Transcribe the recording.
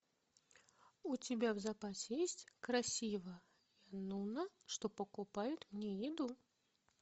у тебя в запасе есть красивая нуна что покупает мне еду